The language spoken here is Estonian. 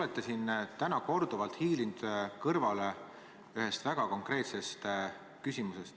Te olete täna korduvalt hiilinud kõrvale vastusest ühele väga konkreetsele küsimusele.